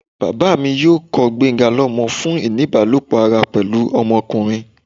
baba mi yóò kọ gbenga lomọ fun ini ibalopọ ará pẹlu ọmọkunrin